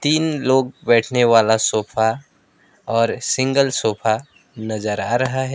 तीन लोग बैठने वाला सोफा और सिंगल सोफा नजर आ रहा है।